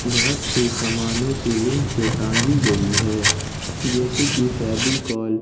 बहोत से सामाने सीलिंग से टांगी गई है जैसे कि फेविकोल ।